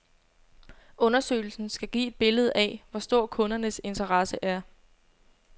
Undersøgelsen skal give et billede af, hvor stor kundernes interesse er.